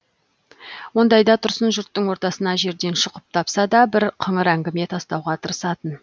ондайда тұрсын жұрттың ортасына жерден шұқып тапса да бір қыңыр әңгіме тастауға тырысатын